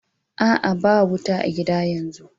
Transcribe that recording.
A'a, ba wuta a'gida yanzu.